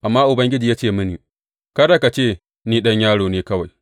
Amma Ubangiji ya ce mini, Kada ka ce, Ni ɗan yaro ne kawai.’